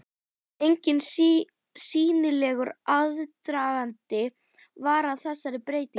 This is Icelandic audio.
Enginn sýnilegur aðdragandi var að þessari breytingu.